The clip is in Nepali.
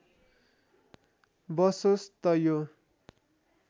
बसोस् त यो